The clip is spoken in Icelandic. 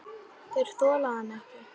Þeir þola hann ekki.